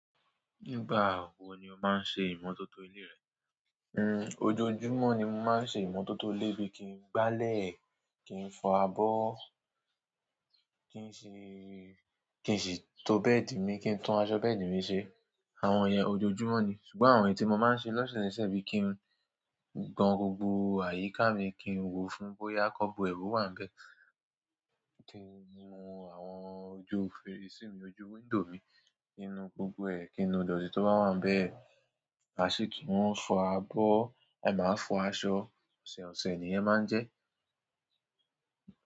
Nígbà wò ni o máa ń ṣe ìmọ́tótó ilé rẹ? N, ojoojúmọ́ ni mo máa ń ṣe ìmọ́tótó ilé bí i kí n gbálẹ̀, kí n fọ abọ́, kí n ṣì, kí n sì to bẹ́ẹ̀dì mi, kí n tún aṣọ bẹ́ẹ̀dì mi ṣe. Àwọn òye ojoojúmọ́ ni. Ṣùgbọ́n àwọn èyí tí mo máa ń ṣe lóṣẹ̀sẹ̀ bí i kí n gban gbogbo àyíká mi, kí n wò ó fún bóyá cub web wà bẹ́ẹ̀, kí n wo àwọn ojú fèrèsé mi, ojú wíńdòw mi kinú gbogbo ẹ̀, kí inú idọtì tó bá wà ń bẹ́ẹ̀, ma sì kí n fọ abọ́, a máa fọ aṣọ, ọ̀sẹ̀ ọ̀sẹ̀ ni ẹ máa ń jẹ́.